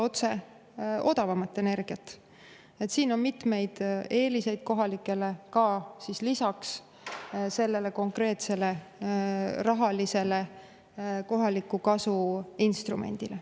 Kohalikele annab see mitmeid eeliseid lisaks sellele konkreetsele rahalisele kohaliku kasu instrumendile.